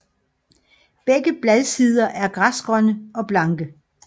Begge bladsider er græsgrønne og blanke